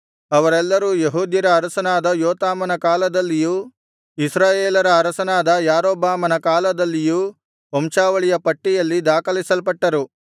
ಅವರೆಲ್ಲರೂ ಯೆಹೂದ್ಯರ ಅರಸನಾದ ಯೋತಾಮನ ಕಾಲದಲ್ಲಿಯೂ ಇಸ್ರಾಯೇಲರ ಅರಸನಾದ ಯಾರೊಬ್ಬಾಮನ ಕಾಲದಲ್ಲಿಯೂ ವಂಶಾವಳಿಯ ಪಟ್ಟಿಯಲ್ಲಿ ದಾಖಲಿಸಲ್ಪಟ್ಟರು